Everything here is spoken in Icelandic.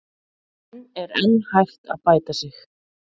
En er enn hægt að bæta sig?